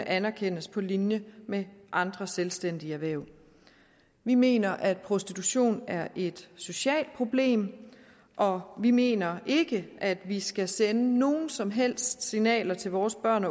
anerkendes på linje med andre selvstændige erhverv vi mener at prostitution er et socialt problem og vi mener ikke at vi skal sende nogen som helst signaler til vores børn